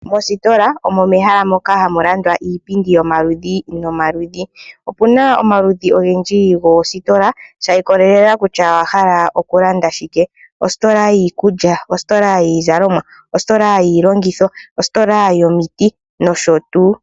Mositola omo mehala moka hamu landwa iipindi yomaludhi nomaludhi, opu na omaludhi ongendji gositola sha ikolelela kutya owahala okulanda shike , ositola yiikulya, ositola yiizalomwa, ositola yilongitho, ositola yomiti nosho tuu.